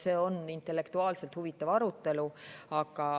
See on intellektuaalselt huvitav arutelu.